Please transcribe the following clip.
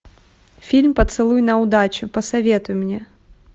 фильм поцелуй на удачу посоветуй мне